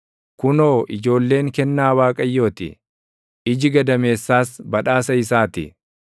Kunoo, ijoolleen kennaa Waaqayyoo ti; iji gadameessaas badhaasa isaa ti.